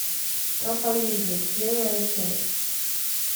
проповедник первая часть